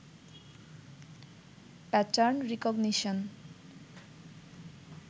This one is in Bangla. pattern recognition